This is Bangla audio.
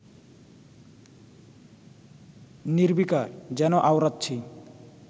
নির্বিকার, যেন আওড়াচ্ছি